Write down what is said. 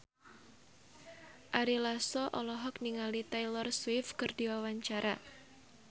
Ari Lasso olohok ningali Taylor Swift keur diwawancara